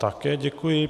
Také děkuji.